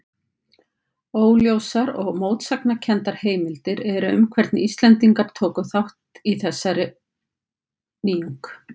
Óljósar og mótsagnakenndar heimildir eru um hvernig Íslendingar tóku þessari nýjung.